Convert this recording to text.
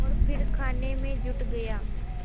और फिर खाने में जुट गया